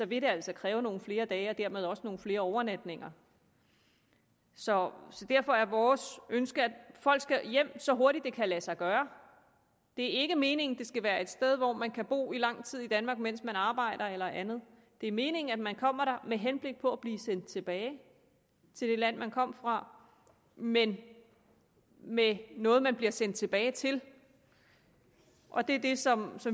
vil altså kræve nogle flere dage og dermed også nogle flere overnatninger så derfor er vores ønske at folk skal hjem så hurtigt det kan lade sig gøre det er ikke meningen at det skal være et sted hvor man kan bo i lang tid i danmark mens man arbejder eller andet det er meningen at man kommer der med henblik på at blive sendt tilbage til det land man kom fra men med noget man bliver sendt tilbage til og det er det som